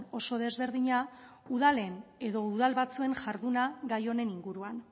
oso desberdina udalen edo udal batzuen jarduna gai honen inguruan